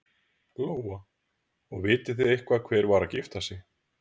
Lóa: Og vitið þið eitthvað hver var að gifta sig?